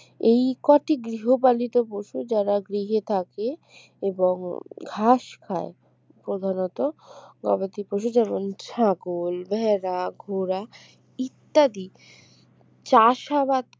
এই কটি গৃহপালিত পশুর যারা গৃহে থাকে এবং ঘাস খায় প্রধানত গবাদিপশু যেমন ছাগল ভেড়া ঘোড়া ইত্যাদি চাষাবাদ